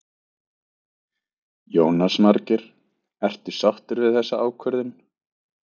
Jónas Margeir: Ertu sáttur við þessa ákvörðun?